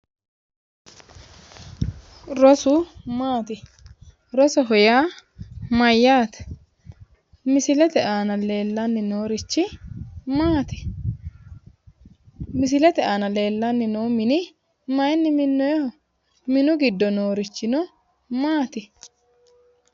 Rosu maati? Rosoho yaa mayyaate? Misilete aana leellanni noorichi maati? Misilete aana leellanni noo mini mayinni minoonnoyeho? Minu giddo noorichi no maati?